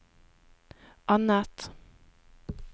annet